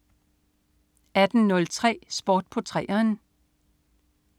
18.03 Sport på 3'eren